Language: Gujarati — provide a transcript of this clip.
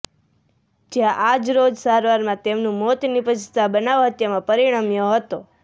જયાં આજરોજ સારવારમાં તેમનું મોત નિપજતાં બનાવ હત્યામાં પરિણ્મ્યો હતો